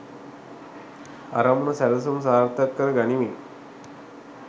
අරමුණු සැලසුම් සාර්ථක කර ගනිමින්